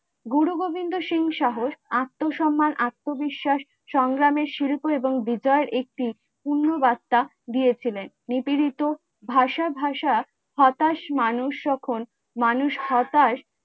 গুরু গোবিন্দ সিং সাহস আত্মসম্মান, আত্মবিশ্বাস, সংগ্রামের শিল্প এবং বিচার একটি পূর্ণ বাস্তা দিয়েছিলেন নিপীড়িত ভাসা ভাসা হতাশ মানুষ সকল মানুষ হতাশ